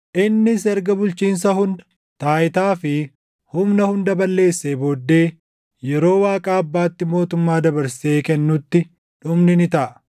Innis erga bulchiinsa hunda, taayitaa fi humna hunda balleessee booddee, yeroo Waaqa Abbaatti mootummaa dabarsee kennutti dhumni ni taʼa.